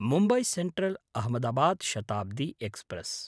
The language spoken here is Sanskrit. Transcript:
मुम्बय् सेन्ट्रल्–अहमदाबाद् शताब्दी एक्स्प्रेस्